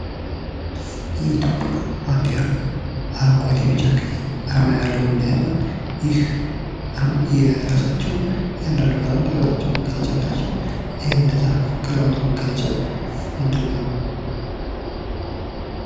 የኢትዮጵያ ባንዲራ አረንጓዴ ፣ ቢጫ ፣ ቀይ አርማ ያለው መለያ ሲሆን ይህ አርማ የራሳቸው አንዳንዱ ቀለማት የራሳቸው መገለጫ አላቸው ። እነዛ ቀለማት መገለጫ ምንድነው ?